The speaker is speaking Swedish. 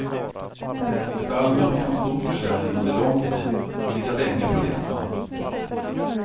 Ett album kan ha stor försäljning under lång tid och ligga länge på listan.